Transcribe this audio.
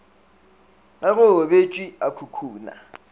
ge go robetšwe a khukhuna